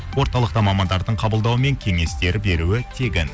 орталықта мамандардың қабылдауы мен кеңестері беруі тегін